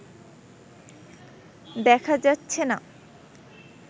দেখা যাচ্ছেনা